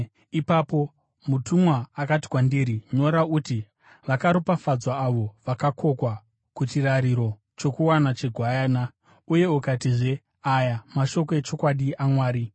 Ipapo mutumwa akati kwandiri, “Nyora uti: ‘Vakaropafadzwa avo vakakokwa kuchirariro chokuwana cheGwayana!’ ” Uye akatizve, “Aya mashoko echokwadi aMwari.”